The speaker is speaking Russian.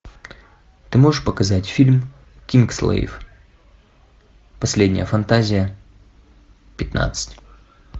ты можешь показать фильм кингсглейв последняя фантазия пятнадцать